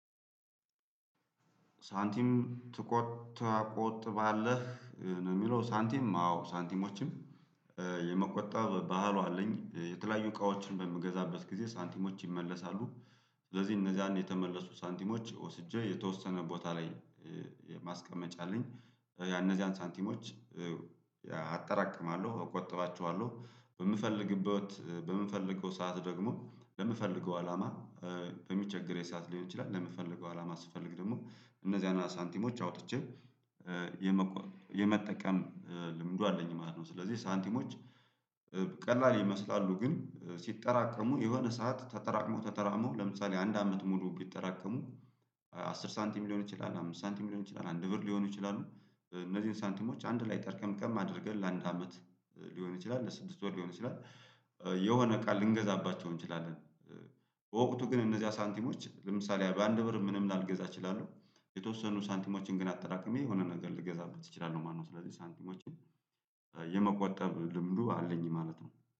ሳንቲም ትቶ ትቆጥባለህ ነው የሚለው ሳንቲም አዎ? ሳንቲሞችን የመቆጠብ ባህሉ አለኝ። የተለያዩ እቃዎችን በምገዛበት ጊዜ ሳንቲሞች ይመለሳሉ ስለዚህ እነዛን የተመለሱ ሳንቲሞች ወስጄ የተወሰነ ቦታ ላይ ማስቀመጫ አለኝ። ያነዚያን ሳንቲሞች አጠራቅማለሁ እቆጥባቸዋለሁ በምፈልግበት በምንፈልገው ሰዓት ደግሞ ለምፈልገው አላማ በሚቸግረኝ ሰዓት ሊሆን ይችላል ለምፈልገው አላማ ስፈልግ ደግሞ እነዚያን አና ሳንቲሞች አውጥቼ የመቆ የመጠቀም ልምዱ አለኝ ማለት ነው። ስለዚህ ሳንቲሞች ቀላል ይመስላሉ ግን ሲጠራቀሙ የሆነ ሰዓት ተጠራቅሞ ተጠራቅሞ ለምሳሌ አንድ አመት ሙሉ ቢጠራቀሙ አስር ሳንቲም ሊሆን ይችላል አምስት ሳንቲም ሊሆን ይችላል አንድ ብር ሊሆኑ ይችላሉ። እነዚህን ሳንቲሞች አንድ ላይ ጠርቀምቀም አድርገን ለአንድ አመት ሊሆን ይችላል ለስድስት ወር ሊሆን ይችላል የሆነ እቃ ልንገዛባቸው እንችላለን። በወቅቱ ግን እነዚያ ሳንቲሞች ለምሳሌ በአንድ ብር ምንም ላልገዛ እችላለሁ የተወሰኑ ሳንቲሞችን ግን አጠራቅሜ የሆነ ነገር ልገዛበት እችላለሁ ማለት ነው። ስለዚህ ሳንቲሞችን የመቆጠብ ልምዱ አለኝ ማለት ነው